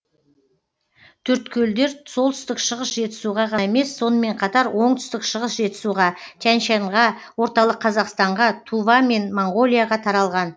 төрткөлдер солтүстік шығыс жетісуға ғана емес сонымен қатар оңтүстік шығыс жетісуға тянь шаньға орталық қазақстанға тува мен моңғолияға таралған